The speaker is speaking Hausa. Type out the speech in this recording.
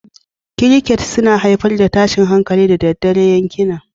Crickets suna haifar da tashin hankali da daddare a yankina